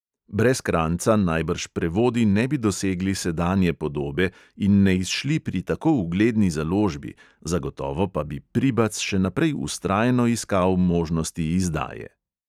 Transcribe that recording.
Brez kranjca najbrž prevodi ne bi dosegli sedanje podobe in ne izšli pri tako ugledni založbi, zagotovo pa bi pribac še naprej vztrajno iskal možnosti izdaje.